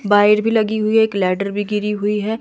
Wire भी लगी हुई है एक लैडर भी गिरी हुई है।